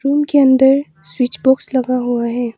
उनके अंदर switch box लगा हुआ है।